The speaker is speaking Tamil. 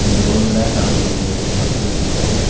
இந்த ரூம்ல நாலு கம்ப்யூட்டர்ருக்கு .